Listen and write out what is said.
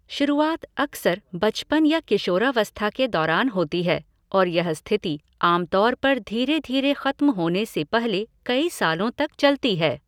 शुरुआत अक्सर बचपन या किशोरावस्था के दौरान होती है और यह स्थिति आमतौर पर धीरे धीरे खत्म होने से पहले कई सालों तक चलती है।